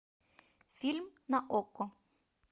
фильм на окко